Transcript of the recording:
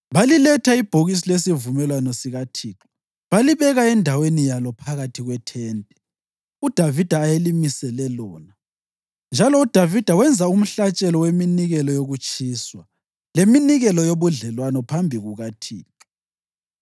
Baliletha ibhokisi lesivumelwano sikaThixo balibeka endaweni yalo phakathi kwethente uDavida ayelimisele lona, njalo uDavida wenza umhlatshelo weminikelo yokutshiswa leminikelo yobudlelwano phambi kukaThixo.